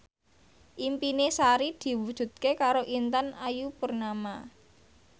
impine Sari diwujudke karo Intan Ayu Purnama